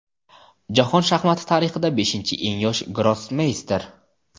Jahon shaxmati tarixida beshinchi eng yosh grossmeyster.